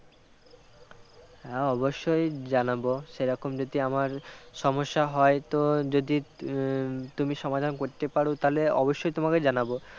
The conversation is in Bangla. হ্যাঁ অবশ্যই জানাব সে রকম যদি আমার সমস্যা হয় তো যদি উম তুমি সমাধান করতে পারো তাহলে অবশ্যই তোমাকে জানাব